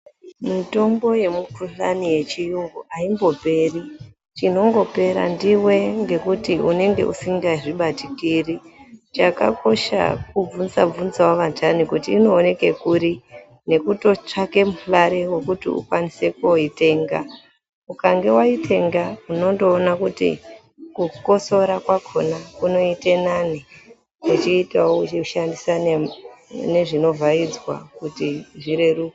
Mitombo yemukuhlani yechiyungu haimboperi. Chinongopera ndiwe ngekuti unenge usingazvibatikiri. Chakakosha kubvunza bvunzawo vandhani kuti inooneke kuri nekutotsvake mare yokuti ukwanise kooitenga. Ukange waitenga unondoona kuti kukosora kwakona kunoite nani uchiitawo uchishandisa nezvinovhaidzwa kuti zvireruke.